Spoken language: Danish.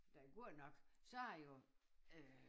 Der godt nok så det jo øh